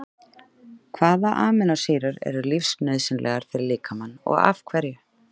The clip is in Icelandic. Hvaða amínósýrur eru lífsnauðsynlegar fyrir líkamann og af hverju?